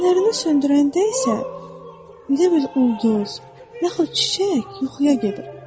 Fənərini söndürəndə isə elə bil ulduz yaxud çiçək yuxuya gedir.